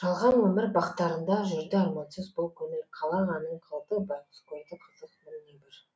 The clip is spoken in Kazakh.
жалған өмір бақтарында жүрді армансыз бұл көңіл қалағанын қылды байғұс көрді қызық мың небір